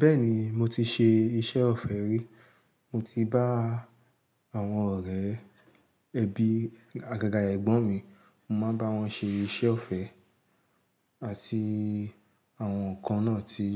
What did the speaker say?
Bẹ́ẹ̀ ni, mo ti ṣe iṣẹ́ ọ̀fẹ́ rí. Mo ti bá àwọn ọ̀rẹ́ ẹbí àgàgà ẹ̀gbọ́n mi, mo máa ń bá wọn ṣe iṣẹ́ ọ̀fẹ́ àti àwọn kan náà tí